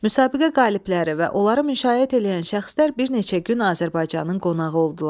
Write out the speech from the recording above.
Müsabiqə qalibləri və onları müşayiət eləyən şəxslər bir neçə gün Azərbaycanın qonağı oldular.